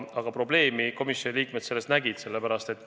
Aga probleemi komisjoni liikmed selles nägid.